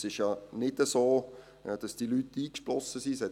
Es ist ja nicht so, dass diese Leute eingeschlossen sind.